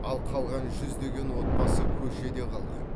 ал қалған жүздеген отбасы көшеде қалған